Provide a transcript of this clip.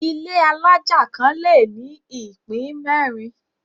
Ilé alájà kan le ní ìpín mẹ́rin.